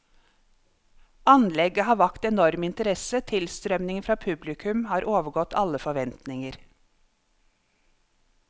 Anlegget har vakt enorm interesse, tilstrømningen fra publikum har overgått alle forventninger.